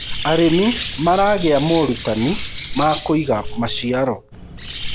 arĩmi maragia morutanĩ ma kuiga maciaro